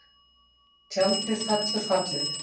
Tjaldið fellur fallið